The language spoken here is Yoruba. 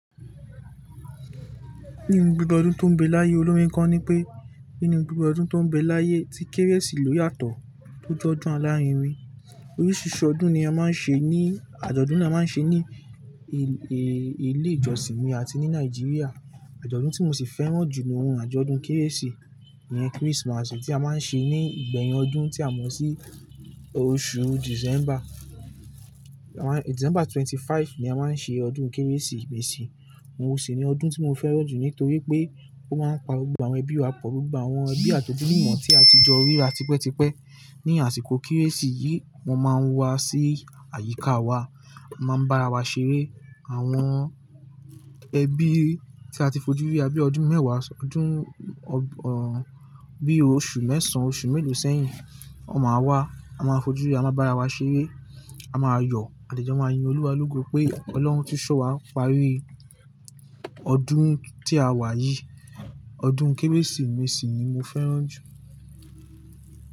Nínú gbogbo ọdún tó ń bẹ láyé, olórin kan nipé, nínú gbogbo ọdún tó ń bẹ láyé tí Kérésì ló yàtọ̀ tó jọdún alárinrin. Oríṣìíríṣìí ọdún ni a máa ń ṣe ní-- àjọ̀dún ni a máa ń ṣe ní ilé ìjọsìn mi àti ní Nàìjíríà. Àjọ̀dún tí mo sì fẹ́ràn jù ni, hun àjọ̀dún Kérésì, ìyen Christmas tí a máa ń ṣe ní ìgbẹ̀yìn ọdún tí a mọ̀ sí oṣù December. December ẹ́ẹ́dọ́gbọ̀n ni a máa ń ṣe ọdún Kérésìmesì. Òhun ṣi ni ọdún tí mo fẹ́ràn jù nítorí pé ó máa ń pa gbogbo àwọn ẹbí wa pọ̀, gbogbo àwọn ẹbí àti ojúlùmò tí a ti jọ ríra tipẹ́tipẹ́. Ni àsìkò Kérésì yìí, wọ́n máa ń wá sí àyíká wa, a máa ń bá ara wa ṣeré. Àwọn ẹbí tí a ti fojú ríra bí i ọdún mẹ́wàá, ọdún, ẹ́, bí i oṣù mẹ́ẹ̀sán, oṣù mélòó sẹ́yìn, wọn máa wá. A máa fojú rí, a máa bá ara wa ṣeré, a máa yọ à de jẹ máa yin Olúwa lógo pé Ọlọ́run tún ṣọ́ wa pari ọdún tí a wà yìí. Ọdún Kérésìmesì ni mo fẹ́ràn jù.